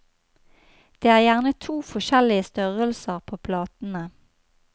Det er gjerne to forskjellige størrelser på platene.